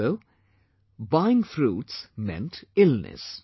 So buying fruits meant illness